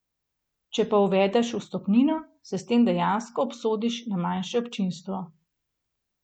Če pa uvedeš vstopnino, se s tem dejansko obsodiš na manjše občinstvo.